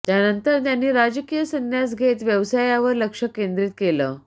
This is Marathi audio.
त्यानंतर त्यांनी राजकीय सन्यास घेत व्यवसायावर लक्ष केंद्रित केलं